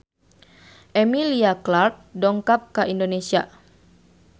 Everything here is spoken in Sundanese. Emilia Clarke dongkap ka Indonesia